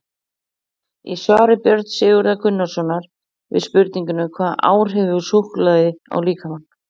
Í svari Björns Sigurðar Gunnarssonar við spurningunni Hvaða áhrif hefur súkkulaði á líkamann?